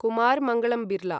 Kumar Mangalam Birla